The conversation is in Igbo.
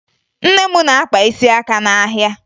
Nne m na-akpa isi aka n'ahịa